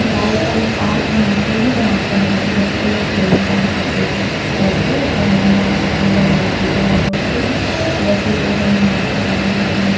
आइट side में park बनाते ही बनाते है ताकि बच्चे लोग खेलने जा सके करके या टहलने जा सके बड़े लोग बुजुर्ग लोग भी वैसे बड़े-बड़े इमारते बनी हुई है।